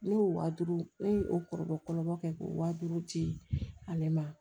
Ne y'o wa duuru ne ye o kɔrɔbɔ kɛ ko wa duuru ci ale ma